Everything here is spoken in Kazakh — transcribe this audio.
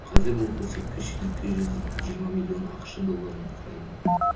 қазір бұл көрсеткіш екі жүз жиырма миллион ақш долларын құрайды